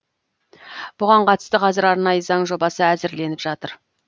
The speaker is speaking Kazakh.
бұған қатысты қазір арнайы заң жобасы әзірленіп жатыр